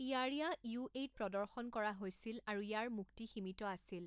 ইয়াৰিয়া' ইউএইত প্ৰদৰ্শন কৰা হৈছিল আৰু ইয়াৰ মুক্তি সীমিত আছিল।